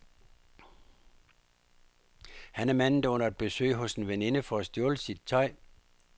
Han er manden, der under et besøg hos en veninde får stjålet sit tøj.